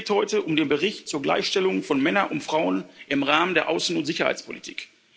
Es geht heute um den Bericht zur Gleichstellung von Männern und Frauen im Rahmen der Außen und Sicherheitspolitik.